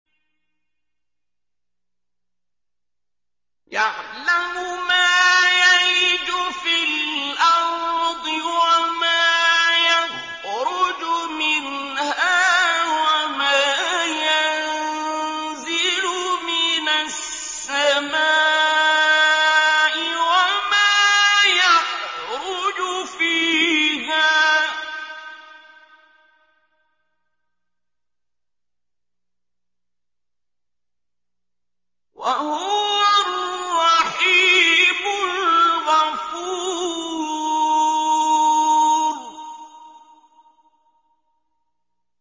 يَعْلَمُ مَا يَلِجُ فِي الْأَرْضِ وَمَا يَخْرُجُ مِنْهَا وَمَا يَنزِلُ مِنَ السَّمَاءِ وَمَا يَعْرُجُ فِيهَا ۚ وَهُوَ الرَّحِيمُ الْغَفُورُ